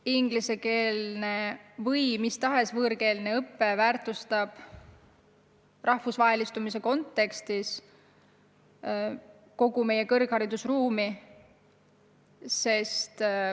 Aga ingliskeelne või mis tahes võõrkeelne õpe väärtustab rahvusvahelistumise kontekstis kogu meie kõrgharidusruumi.